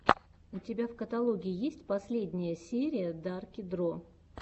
у тебя в каталоге есть последняя серия дарки дро